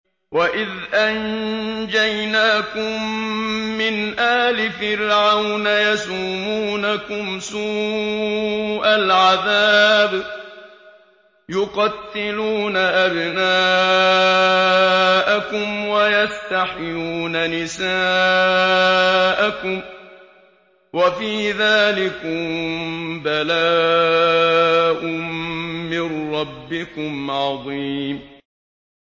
وَإِذْ أَنجَيْنَاكُم مِّنْ آلِ فِرْعَوْنَ يَسُومُونَكُمْ سُوءَ الْعَذَابِ ۖ يُقَتِّلُونَ أَبْنَاءَكُمْ وَيَسْتَحْيُونَ نِسَاءَكُمْ ۚ وَفِي ذَٰلِكُم بَلَاءٌ مِّن رَّبِّكُمْ عَظِيمٌ